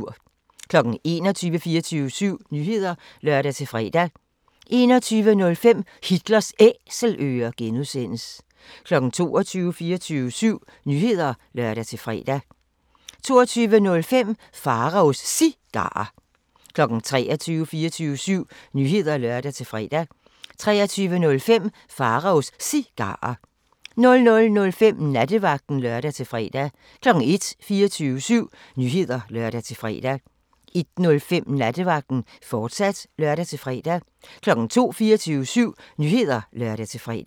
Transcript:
21:00: 24syv Nyheder (lør-fre) 21:05: Hitlers Æselører (G) 22:00: 24syv Nyheder (lør-fre) 22:05: Pharaos Cigarer 23:00: 24syv Nyheder (lør-fre) 23:05: Pharaos Cigarer 00:05: Nattevagten (lør-fre) 01:00: 24syv Nyheder (lør-fre) 01:05: Nattevagten, fortsat (lør-fre) 02:00: 24syv Nyheder (lør-fre)